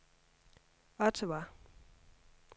Ottawa